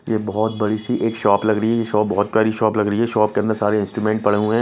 ये बहुत बड़ी सी एक शॉप लग रही है ये शॉप बहुत प्यारी शॉप लग रही है शॉप के अंदर सारे इंस्ट्रूमेंट पड़े हुए हैं।